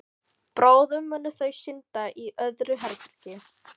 Bráðum munu þau synda í öðru herbergi.